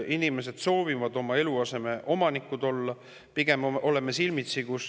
Inimesed soovivad oma eluaseme omanikud olla.